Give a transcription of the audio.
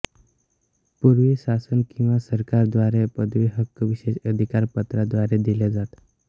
पुर्वी शासन किंवा सरकार द्वारे पदवी हक्क विशेष अधिकार पत्रा द्वारे दिले जात